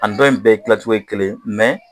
A ni dɔ in bɛɛ dilancogo ye kelen